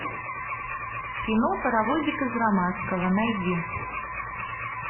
кино паровозик из ромашково найди